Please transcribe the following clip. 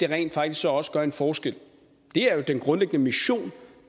rent faktisk også gør en forskel det er jo den grundlæggende mission